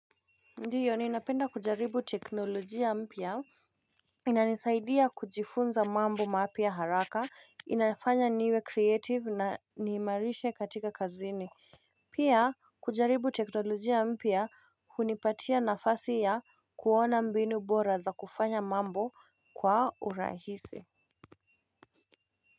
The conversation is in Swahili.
Ndiyo ninapenda kujaribu teknolojia mpya inanisaidia kujifunza mambo mapya haraka inafanya niwe kreative na niimarishe katika kazini Pia kujaribu teknolojia mpya hunipatia nafasi ya kuona mbinu bora za kufanya mambo kwa urahisi.